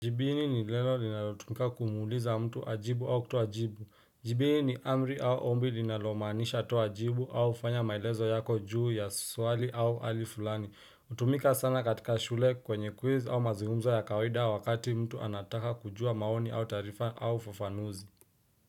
Jibini ni neno linalotumika kumuuliza mtu ajibu au kutoa jibu. Jibini ni amri au ombi linalomanisha toa jibu au fanya maelezo yako juu ya swali au alifulani. Utumika sana katika shule kwenye quiz au mazungumzo ya kawaida wakati mtu anataka kujua maoni au tarifa au fufanuzi.